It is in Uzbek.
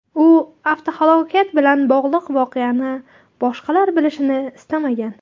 U avtohalokat bilan bog‘liq voqeani boshqalar bilishini istamagan.